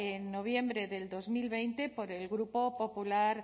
en noviembre del dos mil veinte por el grupo popular